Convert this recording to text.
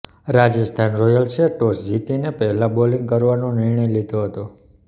રાજસ્થાન રોયલ્સે ટોસ જીતીને પહેલા બોલિંગ કરવાનો નિર્ણય લીધો હતો